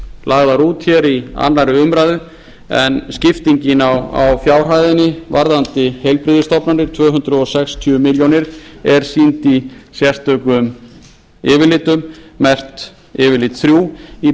lagðar út hér í annarri umræðu en skiptingin á fjárhæðinni varðandi heilbrigðisstofnanir tvö hundruð sextíu milljónir króna er sýnd í sérstökum yfirlitum merkt yfirlit þrjú í